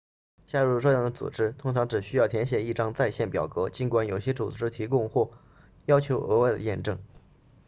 加入这样的组织通常只需要填写一张在线表格尽管有些组织提供或要求额外的验证